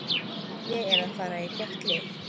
Ég er að fara í gott lið.